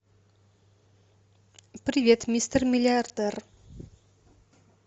привет мистер миллиардер